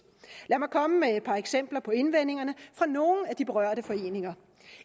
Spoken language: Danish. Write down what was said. lad mig komme med et par eksempler på indvendingerne fra nogle af de berørte foreninger